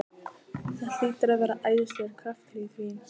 Það hlýtur að vera æðislegur kraftur í því!